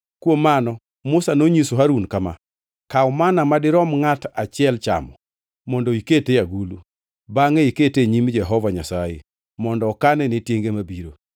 Kuom mano Musa nonyiso Harun kama, “Kaw manna madirom ngʼato achiel chamo mondo iket e agulu. Bangʼe kete e nyim Jehova Nyasaye mondo okane ne tienge mabiro.”